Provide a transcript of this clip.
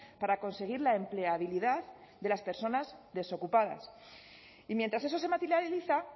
para conseguir la empleabilidad de las personas desocupadas y mientras eso se materializa